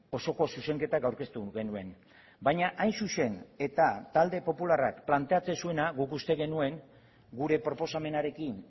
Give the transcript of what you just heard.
osoko zuzenketak aurkeztu genuen baina hain zuzen eta talde popularrak planteatzen zuena guk uste genuen gure proposamenarekin